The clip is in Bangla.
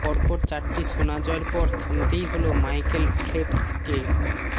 পরপর চারটি সোনা জয়ের পর থামতেই হল মাইকেল ফেল্পসকে